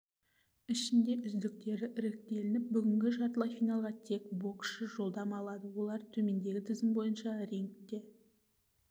ішінде үздіктері іріктеліп бүгінгі жартылай финалға тек боксшы жолдама алды олар төмендегі тізім бойынша рингте